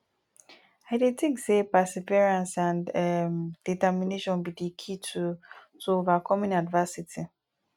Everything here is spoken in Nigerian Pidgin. i dey think say perseverance and um determination be di key to to overcoming adversity